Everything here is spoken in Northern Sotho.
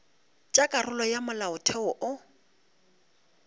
tša karolo ya molaotheo wo